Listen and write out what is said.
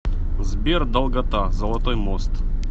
сбер долгота золотой мост